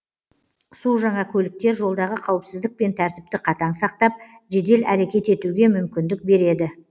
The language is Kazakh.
су жаңа көліктер жолдағы қауіпсіздік пен тәртіпті қатаң сақтап жедел әрекет етуге мүмкіндік береді